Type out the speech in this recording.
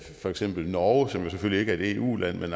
for eksempel norge som selvfølgelig ikke er et eu land men